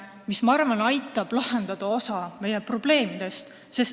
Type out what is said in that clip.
Ma arvan, et see aitab lahendada osa meie probleemidest.